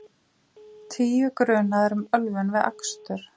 Tíu grunaðir um ölvun við akstur